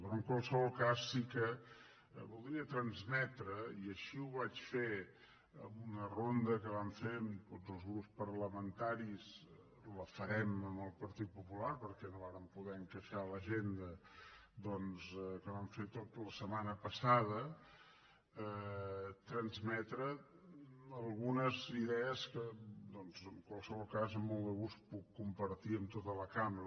però en qualsevol cas sí que voldria transmetre i així ho vaig fer en una ronda que vam fer amb tots els grups parlamentaris la farem amb el partit popular perquè no vàrem poder encaixar l’agenda doncs que vam fer la setmana passada algunes idees que doncs en qualsevol cas amb molt de gust puc compartir amb tota la cambra